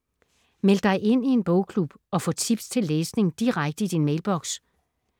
Meld dig ind i en bogklub og få tips til læsning direkte i din mailboks